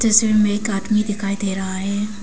इसमें एक आदमी दिखाई दे रहा है।